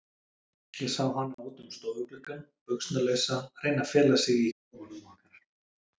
Ég sá hana út um stofugluggann, buxnalausa, reyna að fela sig í kofanum okkar.